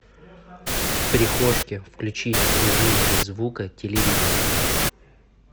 в прихожке включить режим без звука телевизора